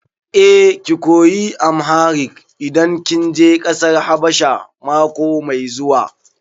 Eh, ki koyi Amharic idan kin je ƙasar Habasha mako mai zuwa.